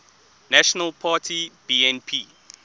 national party bnp